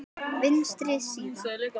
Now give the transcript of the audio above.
Vinstri síða